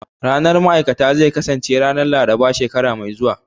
Ranar ma'aikata zai kasance ranar Laraba shekara mai zuwa